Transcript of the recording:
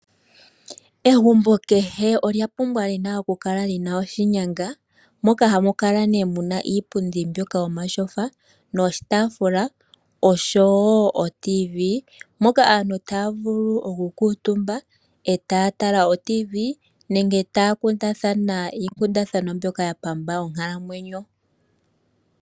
Egumbo kehe olya pumbwa okukala li na oshinyanga moka hamu kala mu na iipundi mbyoka yomatyofa noshiitafula osho wo oradio yomuzizimbe, moka aantu taya vulu okukuutumba eta ya tala oradio yomuzizimbe nenge taya kundathana iikundathana mbyoka ya pamba onkalamwenyo.